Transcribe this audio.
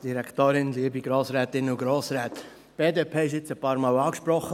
Die BDP wurde jetzt ein paar Mal angesprochen.